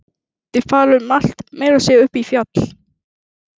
Þeir fara um allt, meira að segja upp í fjall.